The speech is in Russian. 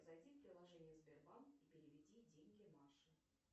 зайди в приложение сбербанк и переведи деньги маше